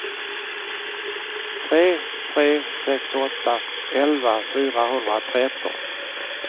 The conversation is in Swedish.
tre tre sex åtta elva fyrahundratretton